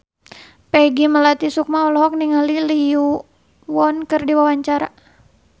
Peggy Melati Sukma olohok ningali Lee Yo Won keur diwawancara